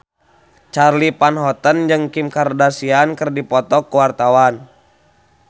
Charly Van Houten jeung Kim Kardashian keur dipoto ku wartawan